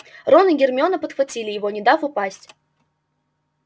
рон и гермиона подхватили его не дав упасть